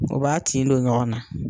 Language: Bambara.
O b'a tin don ɲɔgɔnna